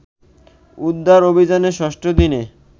উদ্ধার অভিযানের ৬ষ্ঠ দিনে